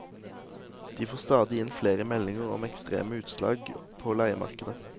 De får stadig inn flere meldinger om ekstreme utslag på leiemarkedet.